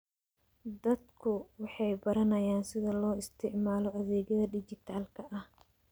Dadku waxay baranayaan sida loo isticmaalo adeegyada dhijitaalka ah.